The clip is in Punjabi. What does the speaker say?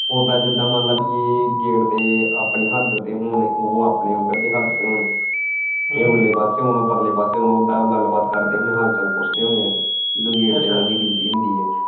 ਉਦਾਂ ਜਿਦਾਂ ਮੰਨ ਲੈ ਪੀ ਇਹਗੇਟ ਦੇ ਆਪਣੀ ਹੱਦ ਤੇ ਹੋਣ ਉਹ ਆਪਣੀ ਉੱਧਰ ਦੇ ਹੱਦ ਤੇ ਹੋਣ ਇਹ ਉਰਲੇ ਪਾਸੇ ਹੋਣ ਤੇ ਉਹ ਪਰਲੇ ਪਾਸੇ ਹੋਣ ਬਸ ਗੱਲ ਬਾਤ ਕਰਦੇ ਹਾਲ ਚਾਲ ਪੁਛਦੇ ਹੋਣੇ ਹੈ ਜਦੋਂ ਗੇਟ ਤੇ ਓਹਨਾ ਦੀ duty ਹੁੰਦੀ ਹੈ।